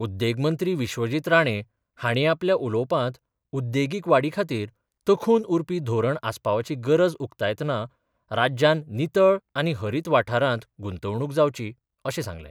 उद्देग मंत्री विश्वजीत राणे हांणी आपल्या उलोवपांत उद्देगीक वाडी खातीर तखून उरपी धोरण आसपावपाची गरज उकतायतना राज्यांन नितळ आनी हरीत वाठारांत गुंतवणूक जावची अशें सांगलें.